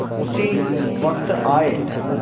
उसी वक्त आये